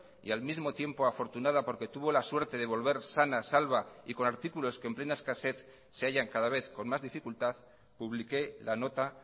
y al mismo tiempo afortunada porque tuvo la suerte de volver sana salva y con artículos que en plena escasez se hallan cada vez con más dificultad publiqué la nota